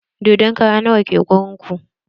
Dodon kara nawa ke garin ku?